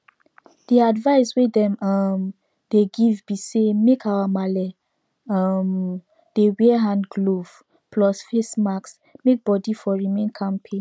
the advice wey dem um dey give be say make our marle um dem wear hand glove plus face mask make body for remain kampe